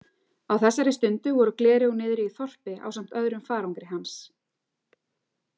Á þessari stundu voru gleraugun niðri í þorpi ásamt öðrum farangri hans.